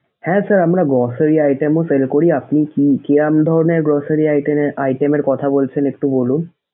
হ্যাঁ sir আমরা grocery item ও sale করি। আপনি কি কিরম ধরণের grocery iten এর item এর কথা বলছেন একটু বলুন?